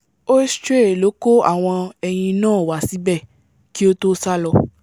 ēostre ló kó àwọn ẹyin náà wa síbẹ̀ kí ó tó sálọ